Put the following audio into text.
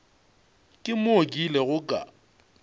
ke moo ke ilego ka